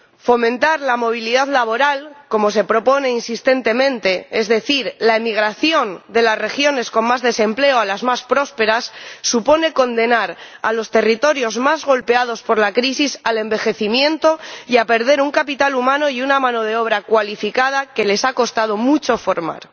Fomentar la movilidad laboral, como se propone insistentemente, es decir, la emigración de las regiones con más desempleo a las más prósperas, supone condenar a los territorios más golpeados por la crisis al envejecimiento y a perder un capital humano y una mano de obra cualificada que les ha costado mucho formar.